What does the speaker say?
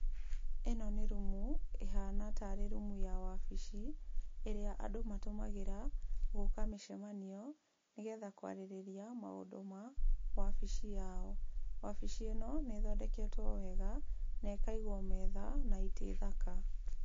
Ĩno nĩ rumu ĩhana tarĩ rumu ya wabici ĩrĩa andũ matũmagĩra gwĩka mĩcemanio, nĩ getha kwarĩrĩria maũndũ ma wabici yao. Wabici ĩno nĩ ĩthondeketwo wega na ĩkaigwo metha na itĩ thaka.